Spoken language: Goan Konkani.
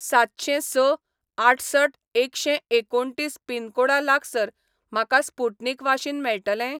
सातशेंस आठसठ एकशें एकुणतीस पिनकोडा लागसार म्हाका स्पुटनिक वाशीन मेळटलें?